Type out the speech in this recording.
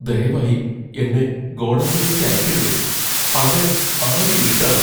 ദയവായി എന്നെ ഗോഡൗണിലേക്ക് അയയ്ക്കരുതേ . അവിടെ ആകെ ഇരുട്ടാണ്.